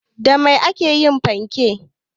Da Mai aka yi fankek?